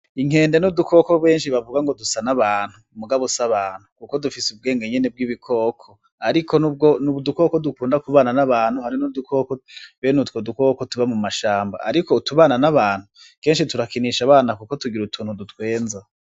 Inkende n'udukoko benshi bavuga ngo dusa n'abantu ,mugabo s'abantu kuko dufis'ubwenge nyene bw'ibikoko ,ariko n'udukoko dukunda kuvugana n'abantu hari n'udukoko ben'utwo dukoko tuba mu mashamba ariko utubana n'abantu kenshi turakinisha abana kuko tugir utuntu dutwenza.